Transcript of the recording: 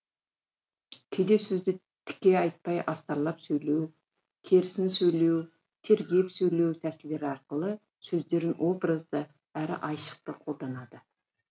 кейде сөзді тіке айтпай астарлап сөйлеу керісін сөйлеу тергеп сөйлеу тәсілдері арқылы сөздерін образды әрі айшықты қолданады